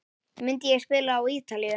Myndi ég spila á Ítalíu?